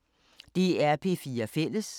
DR P4 Fælles